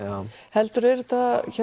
heldur er þetta